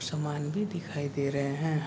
सामान भी दिखाई दे रहे है।